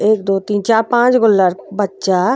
एक दो तीन चा पांच गो लर। बच्चा --